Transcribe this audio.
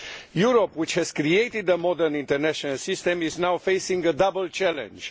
Europe, which has created a modern international system, is now facing a double challenge.